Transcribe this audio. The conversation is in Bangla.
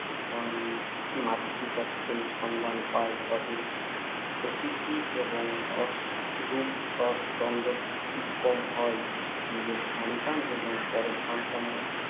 মাতৃত্বের সন্ধান পায় তবে প্রকৃতি এবং রস রূপ রস গন্ধ কীরকম হয়, নিজের সন্তান এবং পরের সন্তানের